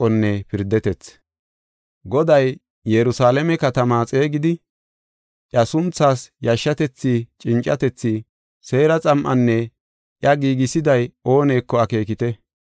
Goday, “Yerusalaame katamaa xeegidi, ‘Iya sunthaas yashetethi cincatethi’ Seera xam7anne iya giigisiday ooneko akeekite.